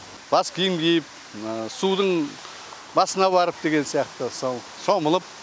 бас киім киіп судың басына барып деген сияқты сол шомылып